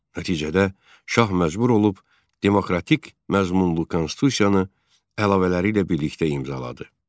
Nəticədə şah məcbur olub demokratik məzmunlu konstitusiyanı əlavələri ilə birlikdə imzaladı.